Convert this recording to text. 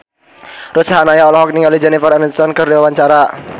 Ruth Sahanaya olohok ningali Jennifer Aniston keur diwawancara